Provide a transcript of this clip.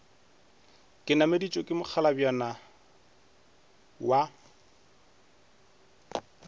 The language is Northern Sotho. ke nameditšwe ke mokgalabjana wa